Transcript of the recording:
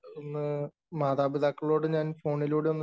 ഇന്നു മാതാപിതാക്കളോട് ഞാൻ ഫോണിലൂടെ ഒന്ന്